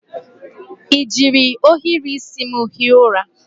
I ji ohiri isi m hie ụra?